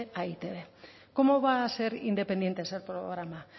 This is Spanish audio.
a e i te be cómo va a ser independiente ese programa